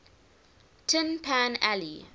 tin pan alley